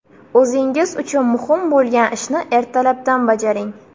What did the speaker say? O‘zingiz uchun muhim bo‘lgan ishni ertalabdan bajaring.